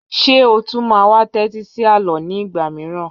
Ṣé o tún máa wá tẹ́tí sí àlọ́ ní ìgbà mìíràn?